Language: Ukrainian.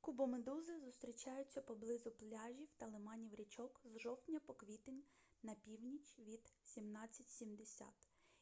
кубомедузи зустрічаються поблизу пляжів та лиманів річок з жовтня по квітень на північ від 1770